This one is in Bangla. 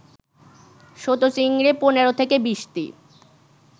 ছোট চিংড়ি ১৫-২০টি